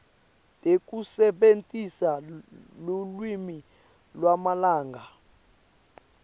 tekusebentisa lulwimi lwamalanga